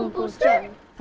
það